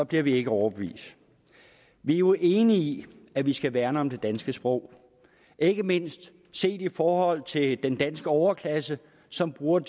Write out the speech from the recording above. bliver vi ikke overbevist vi er jo enige i at vi skal værne om det danske sprog ikke mindst set i forhold til den danske overklasse som bruger